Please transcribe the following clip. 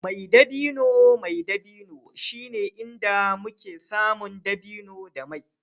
mai dabino mai dabino shine inda muke samun dabino da mai